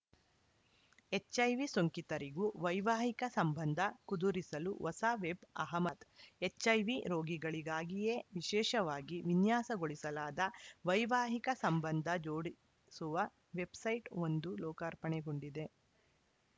HIV ಸೋಂಕಿತರಿಗೂ ವೈವಾಹಿಕ ಸಂಬಂಧ ಕುದುರಿಸಲು ಹೊಸ ವೆಬ್‌ ಅಹಮದ್ ಎಚ್‌ಐವಿ ರೋಗಿಗಳಿಗಾಗಿಯೇ ವಿಶೇಷವಾಗಿ ವಿನ್ಯಾಸಗೊಳಿಸಲಾದ ವೈವಾಹಿಕ ಸಂಬಂಧ ಜೋಡಿಸುವ ವೆಬ್‌ಸೈಟ್‌ ಒಂದು ಲೋಕಾರ್ಪಣೆಗೊಂಡಿದೆ